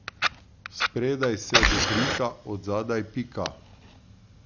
Spredaj se dobrika, od zadaj pika.